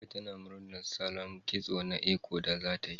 Amira ta murnar salon kitso na Eko da zatayi